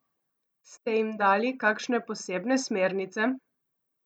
Ste jim dali kakšne posebne smernice?